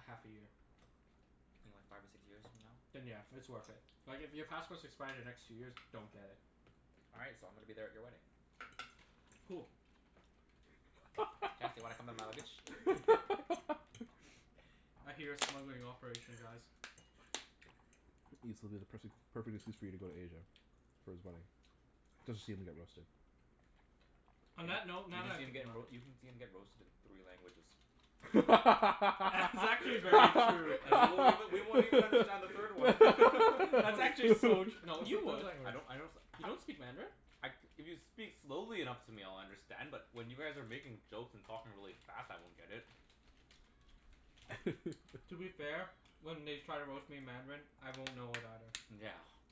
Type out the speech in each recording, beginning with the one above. half a year. Maybe like five or six years from now? Then yeah, it's worth it. Like, if your passports expire the next two years, don't get it. All right, so I'm gonna be there at your wedding. Cool. Chancey, wanna come in my luggage? I hear a smuggling operation, guys. Ibs, it'll be the pers- the perfect excuse for you to go to Asia. For his wedding. Just to see him get roasted. On Y- that note you can see him get roa- you can see him get roasted in three languages. That's actually very true. And we won't even, we won't even understand the third one. That's actually so tr- no, you What would. I don't language? I don't s- You don't speak Mandarin? I, if you speak slowly enough to me I'll understand, but when you guys are making jokes and talking really fast, I won't get it. To be fair, when they try to roast me in Mandarin, I won't know it either. Yeah.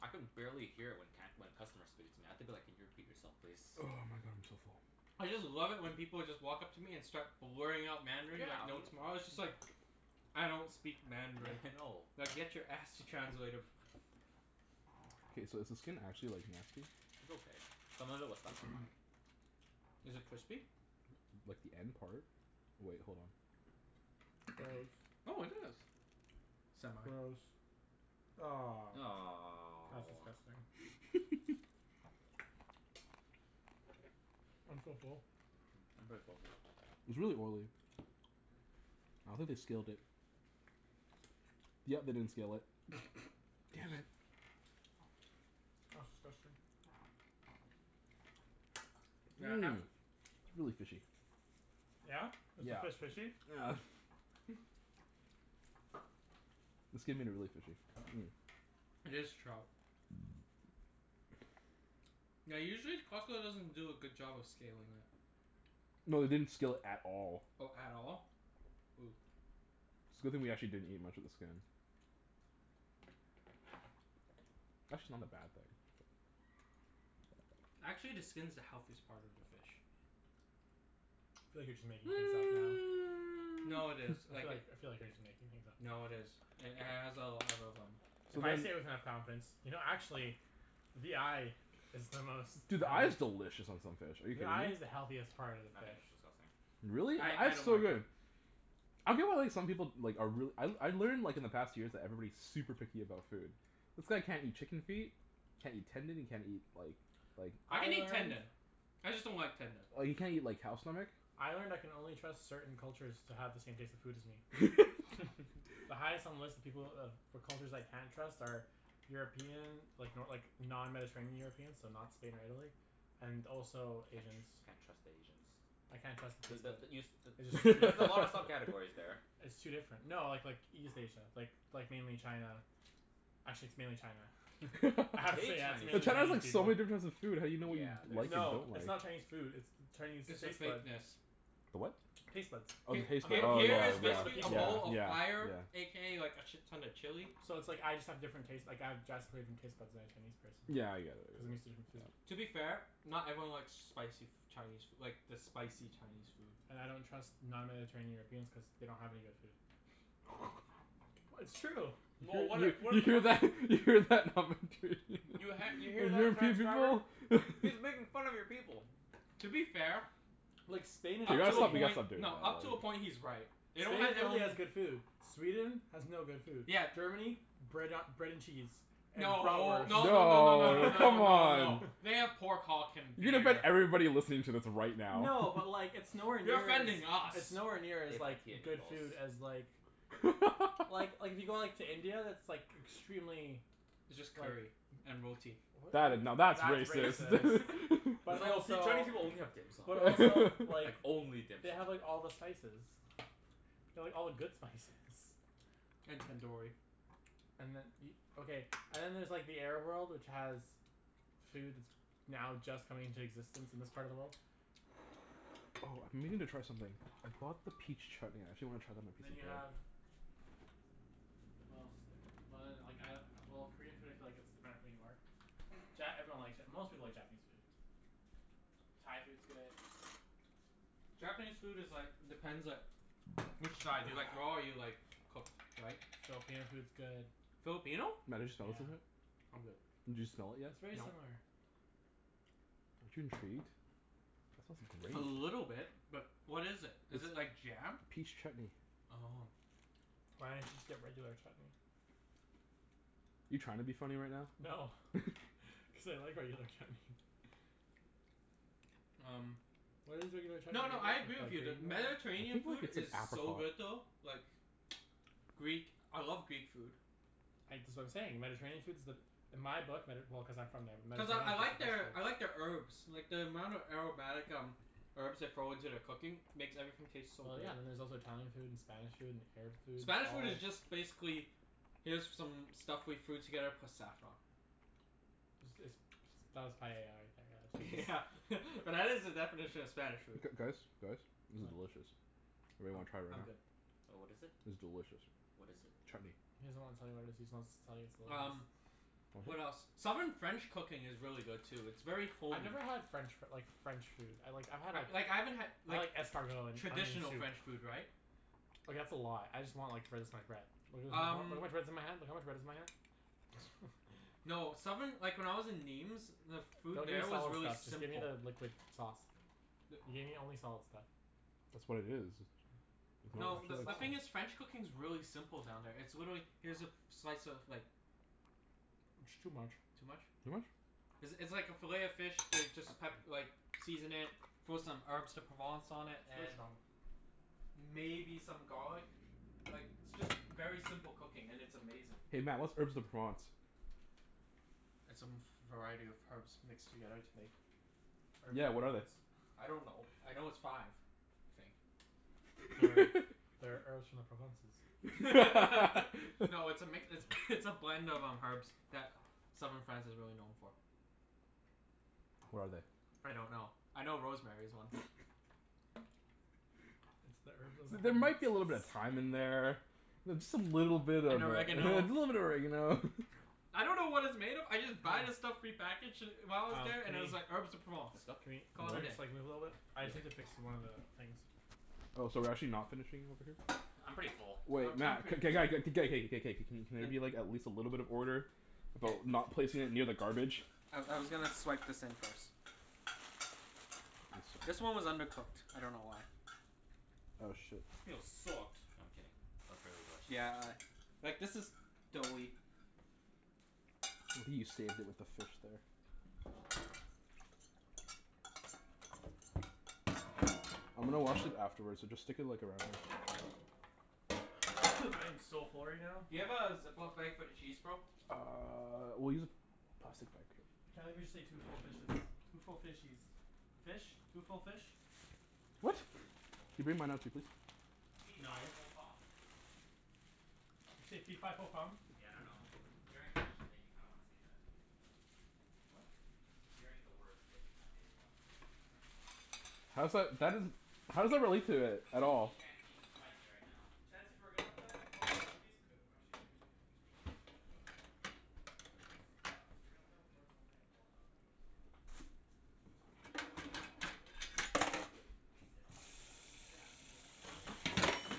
I can barely hear it when can- when customers speak it. I have to be like, "Can you repeat yourself, please?" Oh my god, I'm so full. I just love it when people just walk up to me and start blurring out Mandarin Yeah, like no m- tomorrow. It's just like I don't speak Yeah, Mandarin. I know. Now get your ass to translator. K, so is the skin actually like nasty? It's okay. Some of it was stuck on mine. Is it crispy? Like the end part. Wait, hold on. Gross. Oh, it is. Semi. Gross. Ah. That's Aw. disgusting. I'm so full. Mm, I'm pretty full too. It's really oily. I don't think they scaled it. Yep, they didn't scale it. Damn it. That's disgusting. Yeah, half Mmm. It's really fishy. Yeah? Is the Yeah. fish fishy? Yeah. The skin made it really fishy. Mm. It is trout. Yeah, usually Costco doesn't do a good job of scaling it. No, they didn't scale it at all. Oh, at all? Ooh. It's a good thing we didn't actually eat much of the skin. Actually not a bad thing. Actually, the skin's the healthiest part of the fish. I feel like you're just making things up now. No, it is. I feel Like it like, I feel like you're just making things up now. No, it is. It h- has a a lot of um So If I then say it with enough confidence. You know actually the eye is the most Dude, the eye is delicious on some fish. Are you The kidding eye me? is the healthiest part of the I think fish. it's disgusting. Really? I Eye I is don't so like Mm. it. good. I feel well like some people like are reall- I I learned like in the past years that everybody's super picky about food. This guy can't eat chicken feet can't eat tendon, he can't eat like like I I can eat learned tendon. I just don't like tendon. Or you can't eat like cow stomach. I learned I can only trust certain cultures to have the same taste in food as me. The highest on the list of people of for cultures I can't trust are European like, no like, non-mediterranean Europeans. So not Spain or Italy. And also Can't Asians. tr- can't trust Asians. I can't trust B- their taste but the bud. you s- t- I just there's a lot of sub-categories there. It's too different. No, like like, East Asia. Like, like mainly China. Actually, it's mainly China. Hate Actually, yeah. It's But mainly China's Chinese Chinese food. like, so people. many difference of food how do you know what you Yeah, like there's and don't No, it's like? not Chinese food, it's the Chinese It's the taste bud. fakeness. The what? Taste buds. Oh, the H- Of taste bud. h- all Oh people. here yeah, is Of all yeah, the basically a people. bowl yeah, of fire yeah. a k a like a shit ton of chili. So it's like, I just have different taste, like, I have drastically different taste buds than a Chinese person. Yeah, I get it. Cuz I'm used to different Yeah, food. yeah. To be fair, not everyone likes spicy f- Chinese like, the spicy Chinese food. And I don't trust non-mediterranean Europeans cuz they don't have any good food. W- it's true! Well, what You if we're you the hear pers- that? You hear that? You ha- you hear that, transcriber? He's making fun of your people. To be fair Like, We Spain and up gotta to a Italy stop, we gotta point, stop doing that, no, up to a right? point he's right. They don't Only have their Italy own has good food. Sweden has no good food. Yeah. Germany? Bread a- bread and cheese. And No. No no no no No, no no come no no. on. They have pork hulk and You gonna offend beer. everybody listening to this right now. No, but like, it's nowhere You're near as offending it's us. nowhere near They as like, like good food as like Well, like, if you go like, to India, that's like extremely It's just curry. like And roti. W- That i- now, w- that's that's racist. racist. But That's like, "Oh see, also Chinese people only have dim sum." But also Like, like only dim they have sum. like all the spices. They have all the good spices. And tandoori. And then e- Okay, and then there's like, the Arab world, which has food that's now just coming into existence in this part of the world. Oh, I've been meaning to try something. I bought the peach chutney. I actually wanna try it on a And piece then of you bread. have what else is there? Well then, like I, well, Korean food I feel like it's dependent who you are. Ja- everyone likes Ja- most people like Japanese food. Thai food's good. Japanese food is like, depends like which side. Do you like raw or you like cooked, right? Filipino food's good. Filipino? Yeah. I'm good. Did you smell it yet? It's very No. similar. Aren't you intrigued? A Smells great. little bit. But what is it? Is it It's like jam? Peach chutney. Oh. Why didn't you just get regular chutney? You trying to be funny right now? No. Cuz I like regular chutney. Um Why does regular chutney No, no, I agree with you that I Mediterranean think like food it's an is so good apricot. though. Like Greek, I love Greek food. I, that's what I'm saying. Mediterranean food's the In my book, Medi- well, cuz I'm from there. Cuz I I like their I like their herbs. Like the amount of aromatic um herbs they throw into their cooking makes everything taste so Well, good. yeah. And then there's also Italian food, and Spanish food, and Arab food. Spanish food is just basically here's some stuff we threw together plus saffron. Is this ps- that was paella right there, Yeah yeah but that is the definition of Spanish food. G- guys? Guys? This is What? delicious. Anyone I'm wanna try it I'm right now? good. Oh, what is it? It's delicious. What is it? Chutney. He doesn't wanna tell you what it is. He just wants to tell you it's delicious. Um What Want some? else? Southern French cooking is really good too. It's very I've homey. never had French f- like, French food. I like, I've had a Like, I haven't had I like like escargot, and traditional onion soup. French food, right? Like, that's a lot. I just want like, finish my bread. Look how Um much bread is in my hand. Look at how much bread's in my hand. no, southern like, when I was in Nîmes the food Don't give me there was solid really stuff. Just give me simple. the liquid sauce. You The gave me only solid stuff. That's what it is. No, the the the thing is sauce. French cooking's really simple down there. It's literally, here's a f- slice of like It's too much. Too much? Too much? It's it's like a fillet of fish they just pep- like season it, throw some Herbes de Provence on it, Too and strong. maybe some garlic. Like, it's just very simple cooking, and it's amazing. Hey Mat, what's Herbes de Provence? It's a m- variety of herbs mixed together to make Herbes de Yeah, what are they? Provence. I don't know. I know it's five. I think. That are that are herbs from the Provences. No, it's a mix, it's it's a blend of um, herbs that southern France is really known for. What are they? I don't know. I know rosemary's one. It's the herbs of the There might be a little bit of Provences. thyme in there. Th- just a little bit of a And little bit oregano. of oregano. I don't know what it's made of. I just buy the stuff prepackaged d- while I was Um, there, can and it was like, we Herbes de Provence. It's can not Cana- we, Call can it a we day. just like, move a little bit? I just need to fix one of the things. Oh, so we're actually not finishing over here? I'm pretty full. Um, Wait I'm Mat, pretty k- g- g- k- g- g- k- k- k- k. Can there be like, at least a little bit of order? About not placing it near the garbage? I I was gonna swipe this in first. I see This one was undercooked. I don't know why. Oh shit. This meal sucked. I'm kidding. It was really delicious, Yeah actually. a Like this is doughy. You saved it with the fish there. I'm gonna wash it afterwards, so just stick it like around. I am so full right now. Do you have a Ziploc bag for the cheese, bro? Uh, we'll use a plastic bag. Can't believe we just ate two full fishes. Two full fishies. Fish? Two full fish? Yeah, I What? think it's just two full Can you bring fish. mine out too, please? Fee fi No. fo fum. Did you say fee fi fo fum? Yeah, I dunno. Hearing fish just kinda made me wanna say that. What? Hearing the word fish kinda made me wanna say that. I dunno why. How's that, that isn't How does that relate to it at Fight me, all? Chancey. Fight me right now. Chancey, if we're gonna put it on the floor can we move these cu- or actually, can you c- can you move these cushions? Move the These cushions? ones. Cuz if we're gonna put on the floor, someone's gonna get blocked off by those. So can you just put them in the hallway over there? Can we sit on them? Yeah, we can do that. That makes sense.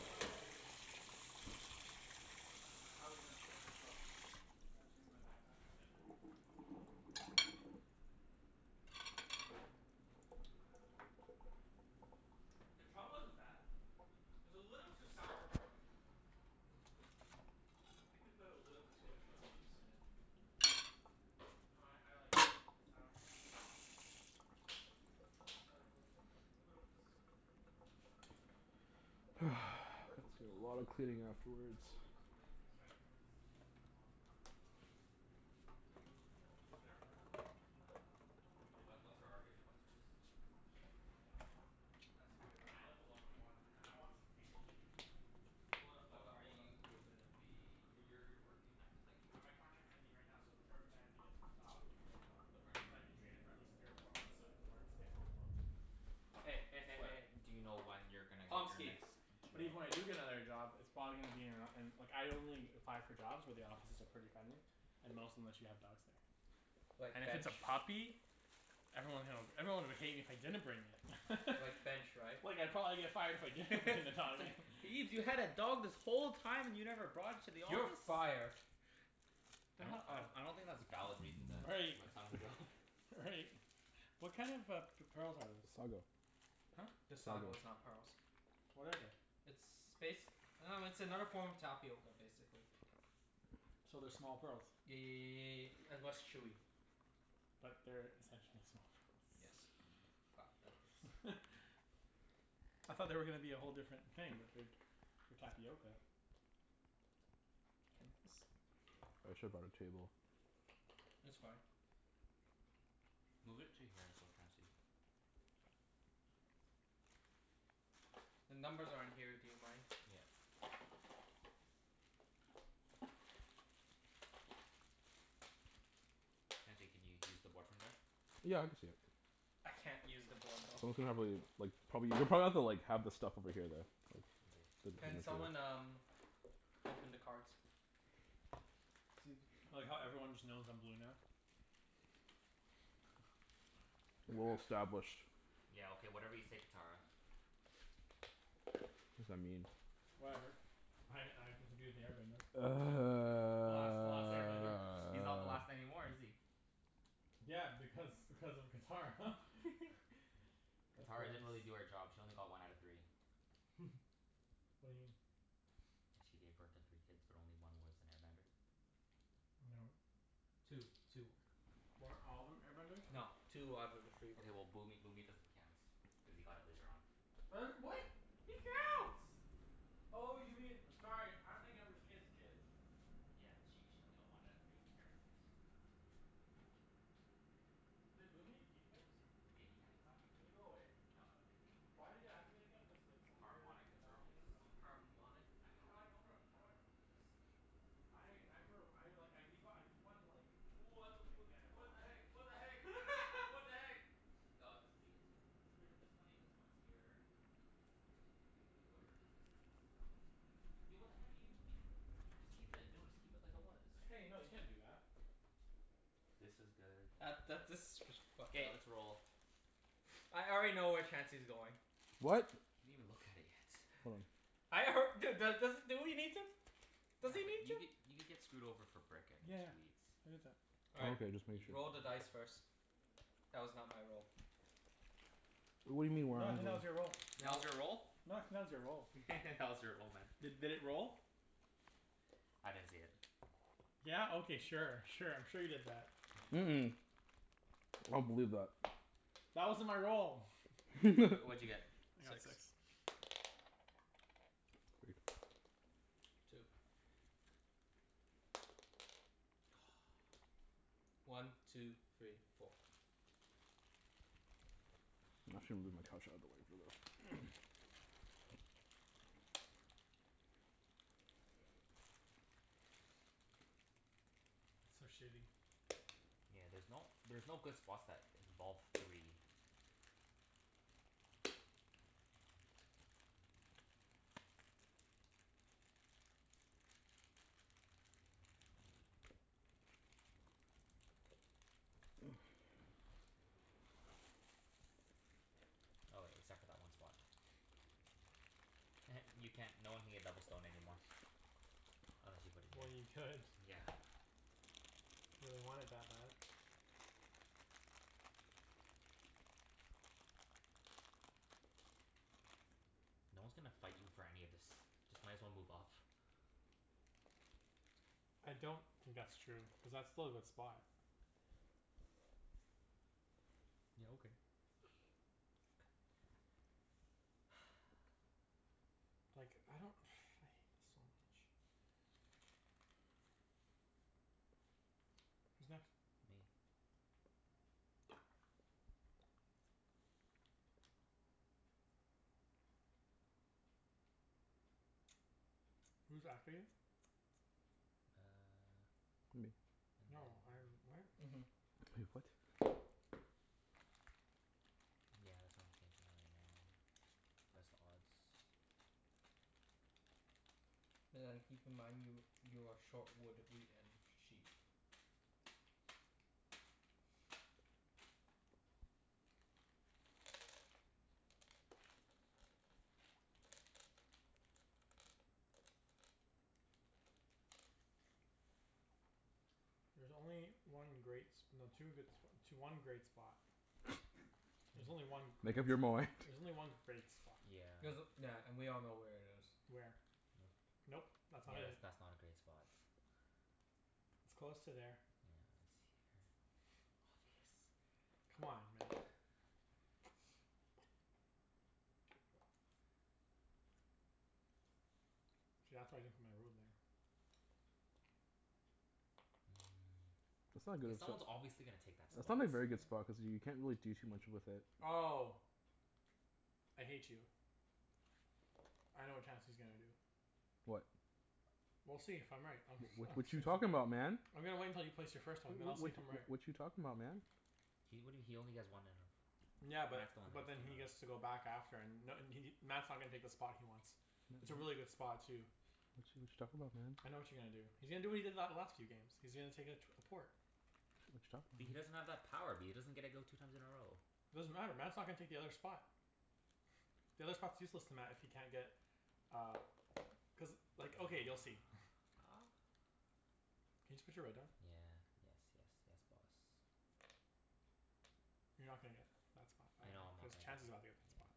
Ah, good one. All right, how are we gonna set this up? Uh, my backpack and then we can put it in the middle. The trout wasn't bad. It was a little too sour for my liking, though. I think we put a little too much lemon juice in it. No, I I like it a little bit sour. I like lemon. Lemon's When That's life gives you gonna be lemons a lot of cleaning Red Bull afterwards. gives you I'm wings. trying to convince convince my mom to let me have a dog. L- like Cuz it's their apartment. Oh. And I What what's can't her argument? What's yours? She doesn't like animals. That's a great But I help argument. live alone. I want I want something to keep me company. Hold up, But hold up, are hold up. you gonna be W- y- you're working, like it's like you Uh, work my contract's ending right now, so the perfect time to get an dog would be right now. But aren't are So I you can train it for at least three or four months so it can learn to stay at home alone. Hey, hey, hey, hey, But hey. do you know when you're gonna get your Pomski. next But even when I job? do get another job it's probably gonna be in a, in like, I only apply for jobs where the offices are pretty friendly. And most of them let you have dogs there. Like And if it's bench? a puppy? Everyone hill, everyone would hate me if I didn't bring it. Like bench, right? Well, yeah, probably if I if I didn't bring the It's dog in. like, "Ibs, you had a dog this whole time and you never brought it to the office?" "You're fired." They I don't have I a I don't think that's valid reason to Right. let someone go. Right. What kind of a p- pearls are those? Sago. Huh? This sago Sago. is not pearls. What are they? It's bas- I dunno, it's another form of tapioca I basically. So they're small pearls? Ye- and less chewy. But they're essentially small Yes. pearls? Fuck, that looks I thought they were gonna be a whole different thing, but they're for tapioca. should have bought a table. It's fine. Move it to here so Chancey The numbers are in here. Do you mind? Yeah. Chancey, can you use the board from there? Yeah, I can see it. I can't use the board though. We can probably like probably, you'll probably have to like have the stuff over here though. Okay. Can someone um, open the cards? See if it I like how everyone just knows I'm blue now. Well Crap. established. Yeah, okay, whatever you say Catara. What does that mean? Whatever. I I get to be with the air bender. The last the last air bender. He's not the last anymore, is he? Yeah, because because of Catara. That's Catara gross. didn't really do her job. She only got one out of three. What do you mean? Like she gave birth to three kids but only one was an air bender. No. Two. Two were. Weren't all of them air benders? No. Two out of the three were. Okay, well Boomy Boomy doesn't count. Cuz he got it later on. Her, what? He counts. Oh, you mean, sorry, I'm thinking of his kid's kids. Yeah. She she only got one out of three. Air benders. Did Boomy keep his? Yeah, he kept his after. Did it go away? No, it again? Cuz like, some weird Harmonic phenomeno- convergence. oh. Harmonic A- how do I fucking know rem- how do I remember this? I I remember, I like, I keep o- I keep on like What the fu- thinking I never what the watched heck? it. What the heck? What the heck? G- aw, this is pretty good too. There's pret- there's plenty of good spots here. Here's pretty good. But whoever, this is this is not gonna be used. Yo, what the heck are you doing? Just keep it. No, just keep it like it was. Hey, no, you can't do that. This is good, that's That that okay. this is s- fucked K, up. let's roll. I already know where Chancey's going. What? He didn't even look at it yet. Hold on. I alr- dude. Dude do- does do we need to? Yeah, Does he but need you could to? you could get screwed over for brick and Yeah. wheat. All Oh right. okay, just make You you sure. Roll the dice first. That was not my role. What do you mean your roll. That No. was your roll? your roll. That was your roll, man. D- did it roll? I didn't see it. Yeah? Okay, sure. Sure, I'm sure you did that. Mm- mm. I don't believe that. That wasn't my roll! W- what'd you get? I got six. Two. One two three four. I'm actually gonna move my couch outta the way for this. It's so shitty. Yeah, there's no there's no good spots that involve three. Oh wait, except for that one spot. You can't, no one can get double stone anymore. Unless you put it Well, here. you could. Yeah. If you really want it that bad. No one's gonna fight you for any of this. Just might as well move up. I don't think that's true. Cuz that's still a good spot. Yeah, okay. Like, I don't I hate this so much. Who's next? Me. Who's after you? Uh Me. and then No, I'm, what? Mhm. Wait, what? Yeah, that's what I'm thinking right now. Press the odds. But then keep in mind you you are short wood, wheat, and sheep. There's only one great s- no, two good spo- tw- one great spot. There's only one great Make up your s- mind. There's only one great spot. Yeah. There's, yeah, and we all know where it is. Where? Nope. That's not Yeah that's it. that's not a great spot. It's close to there. Yeah, it's here. Obvious. Come on, Mat. See, that's why I didn't put my ruin there. That's not Mm, a k, good as sp- someone's obviously gonna take that That's spot. not a very good spot cuz you can't really do too much with it. Oh! I hate you. I know what Chancey's gonna do. What? We'll see if I'm right. I'm s- Wh- I'm what you s- talking about, man? I'm gonna wait until you place your W- first one, w- then I'll what see if I'm w- right. what you talking about, man? He, what do you, he only has one in a Yeah, That's but the one but then he he has gets to move. to go back after and n- and he Mat's not gonna take the spot he wants. It's a really good spot, too. What you what you talking about, man? I know what you're gonna do. He's gonna do what he did that last few games. He's gonna take a tw- a port. What But he you talking doesn't about? have that power. B- he doesn't get to go two times in a row. Doesn't matter. Mat's not gonna take the other spot. The other spot's useless to Mat if he can't get uh cuz, like, okay, you'll see. Can you just put your red down? Yeah. Yes, yes, yes boss. You're not gonna get that spot. I know I- I'm not cuz gonna get it. Chancey's gotta Yeah. get that spot.